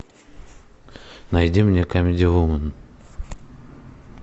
найди мне камеди вумен